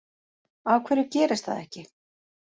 Af hverju gerist það ekki